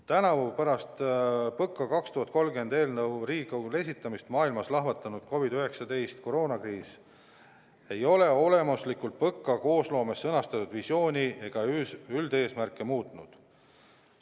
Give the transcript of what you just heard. Tänavu pärast PõKa 2030 eelnõu Riigikogule esitamist maailmas lahvatanud COVID-19 kriis ei ole olemuslikult PõKa koosloomes sõnastatud visiooni ega üldeesmärke muutnud.